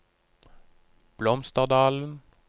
Blomsterdalen